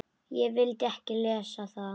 Ég vildi ekki lesa það.